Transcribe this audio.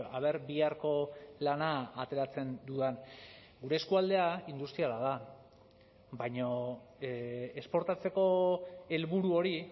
a ver biharko lana ateratzen dudan gure eskualdea industriala da baina esportatzeko helburu hori